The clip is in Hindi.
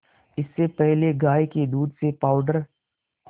इससे पहले गाय के दूध से पावडर